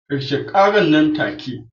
Karshen karar nan take